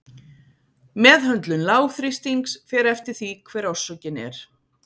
Meðhöndlun lágþrýstings fer eftir því hver orsökin er.